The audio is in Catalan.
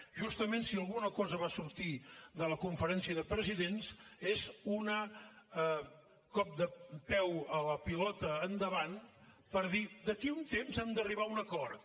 justament si una alguna cosa va sortir de la conferència de presidents és un cop de peu a la pilota endavant per dir d’aquí a un temps hem d’arribar a un acord